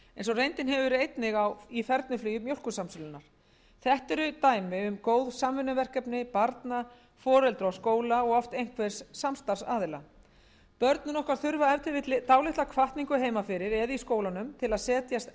reyndin hefur einnig verið í fernuflugi mjólkursamsölunnar þetta eru dæmi um góð samvinnuverkefni barna foreldra og skóla og oft einhvers samstarfsaðila börnin þurfa ef til vill dálitla hvatningu heima fyrir eða í skólanum til að setjast